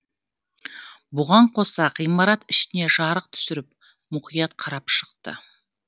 бұған қоса ғимарат ішіне жарық түсіріп мұқият қарап шықты